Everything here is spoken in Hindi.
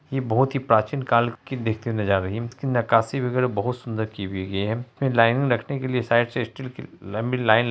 इ बहुत ही प्राचीन काल की देखते हुए नजर आ रही है इसकी नकासी वगैरा बहुत सुंदर की हुई गई है ये लाइन में रखने के लिए साइड से स्टील की लंबी लाइन --